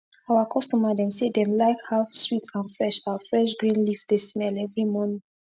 our customer dem say dem like how sweet and fresh our fresh green leaf dey smell everi morning